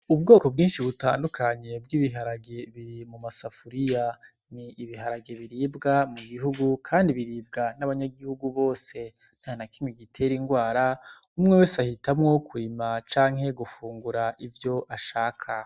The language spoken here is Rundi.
Ubwoko bwinshi butandukanye bw'ibiharage, biri mu masafuriya. Ni ibiharage biribwa mu gihugu, kandi biribwa n'abanyagihugu bose. Ntanakimwe gitera indwara, umwe wese ahitamwo kurima canke gufungura ivyo ashaka.